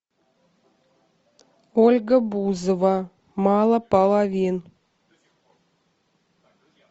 ольга бузова мало половин